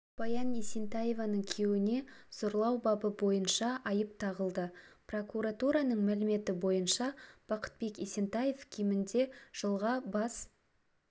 баян есентаеваның күйеуіне зорлау бабы бойынша айып тағылды прокуратураның мәліметі бойынша бақытбек есентаев кемінде жылға бас